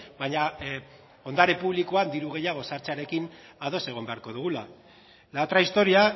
baina ondare publikoak diru gehiago sartzearekin ados egon beharko dugula la otra historia